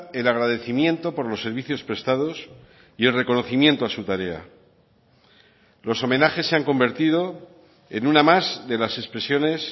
el agradecimiento por los servicios prestados y el reconocimiento a su tarea los homenajes se han convertido en una más de las expresiones